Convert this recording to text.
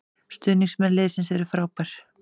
Stuðningsmenn liðsins eru frábær